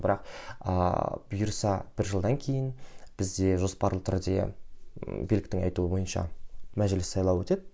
бірақ ыыы бұйырса бір жылдан кейін бізде жоспарлы түрде биліктің айтуы бойынша мәжіліс сайлауы өтеді